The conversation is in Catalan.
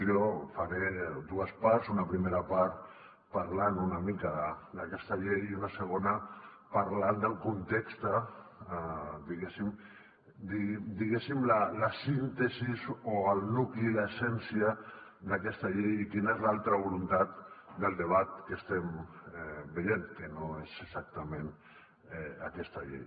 jo faré dues parts una primera part parlant una mica d’aquesta llei i una segona parlant del context diguéssim la síntesi o el nucli l’essència d’aquesta llei i quina és l’altra voluntat del debat que estem veient que no és exactament aquesta llei